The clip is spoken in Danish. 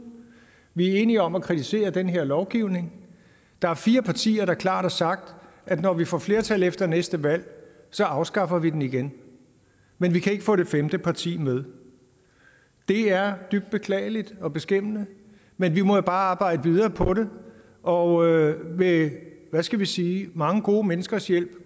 vi er enige om at kritisere den her lovgivning der er fire partier der klart har sagt at når vi får flertal efter næste valg så afskaffer vi den igen men vi kan ikke få det femte parti med det er dybt beklageligt og beskæmmende men vi må jo bare arbejde videre på det og med skal vi sige mange gode menneskers hjælp